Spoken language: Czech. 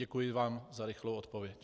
Děkuji vám za rychlou odpověď.